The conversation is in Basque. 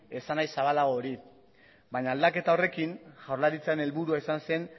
esanahi zabalago hori baina aldaketa horrekin jaurlaritzaren helburua izan zen